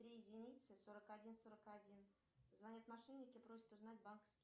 три единицы сорок один сорок один звонят мошенники просят узнать банковские